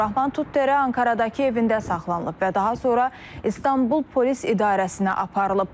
Abdurrahman Tuttərə Ankaradakı evində saxlanılıb və daha sonra İstanbul polis idarəsinə aparılıb.